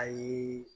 Ayi